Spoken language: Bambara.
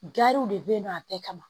Gariw de bɛ yen nɔ a bɛɛ kama